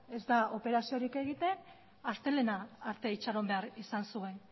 ez da operaziorik egiten astelehena arte itxaron behar izan zuen